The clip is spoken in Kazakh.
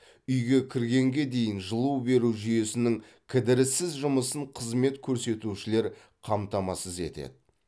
үйге кіргенге дейін жылу беру жүйесінің кідіріссіз жұмысын қызмет көрсетушілер қамтамасыз етеді